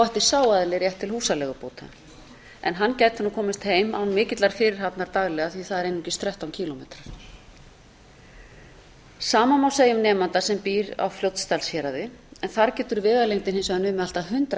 ætti sá aðili rétt til húsaleigubóta en hann gæti komist heim án mikillar fyrirhafnar daglega því það er eru einungis þrettán kílómetrar sama má segja um nemanda sem býr á fljótsdalshéraði en þar getur vegalengdin hins vegar numið allt að hundrað